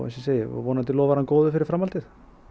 ég segi vonandi lofar hann góðu fyrir framhaldið